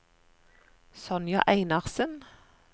Sonja Einarsen